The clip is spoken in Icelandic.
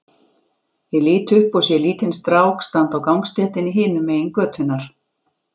Ég lít upp og sé lítinn strák standa á gangstéttinni hinum megin götunnar.